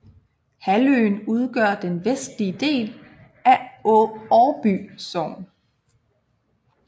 Halvøen udgør den vestlige del af Årby Sogn